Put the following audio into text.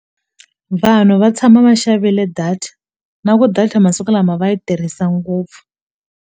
Vanhu va tshama va xavile data na ku data masiku lama va yi tirhisa ngopfu.